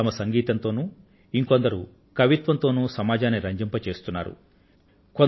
కొందరు తమ సంగీతంతోనూ మరికొందరు కవిత్వంతోనూ సమాజాన్ని రంజింపజేస్తున్నారు